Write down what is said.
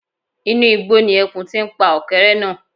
Inú igbó ni ẹkùn ti ń pa ọ̀kẹ́rẹ́ náà